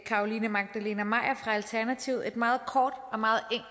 carolina magdalene maier fra alternativet et meget kort og meget